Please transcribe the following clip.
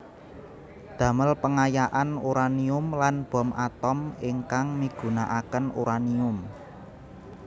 Damel pengayaan uranium lan bom atom ingkang migunakaken uranium